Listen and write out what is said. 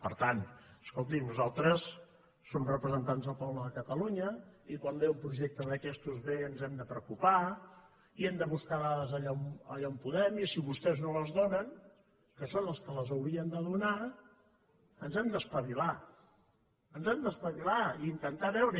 per tant escolti’m nosaltres som representants del poble de catalunya i quan ve un projecte d’aquestos bé que ens hem de preocupar i hem de buscar dades allà on podem i si vostès no les donen que són els que les haurien de donar ens hem d’espavilar ens hem d’espavilar i intentar veure